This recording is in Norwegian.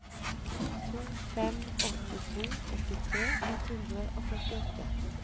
to fem åtte to åttitre ett hundre og førtiåtte